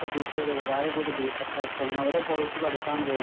പ്രതീക്ഷയോടെ ഒരുപാട് പേര് ബിടെക്ആയിട്ട് ഓരോ കോഴ്സ് പഠിക്കാൻ പോകു